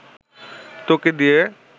তোকে দিয়ে